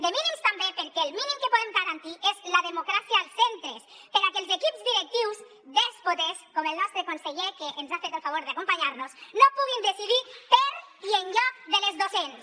de mínims també perquè el mínim que podem garantir és la democràcia als centres perquè els equips directius dèspotes com el nostre conseller que ens ha fet el favor d’acompanyar nos no puguin decidir per i en lloc de les docents